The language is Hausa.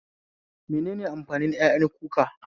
Menene amfanin ƴaƴan kuka?